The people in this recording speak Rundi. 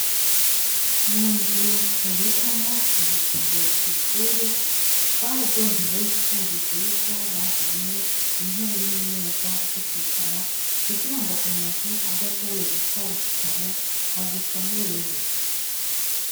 Munzu babikamwo ibitabu kw'ishure twararyohewe twumvise Yuko bazanye intebe nimeza zokwicara kugirango umuntu adashoboye gitwara igitabo agisomereyo.